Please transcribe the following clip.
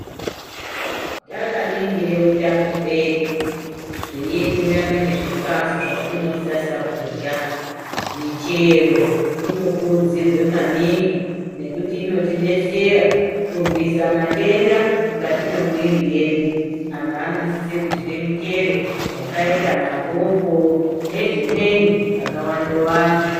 Takaningire utano hwedu zveienderane nezvikafu zvatinosasa kurya. Michero inokurudzirwe maningi nekuti inotidetsera kurwisa matenda mukati mwemuiiri yedu. Anhu anosise kudye michero yakaita mapopo nezvimweni yakawanda-wanda.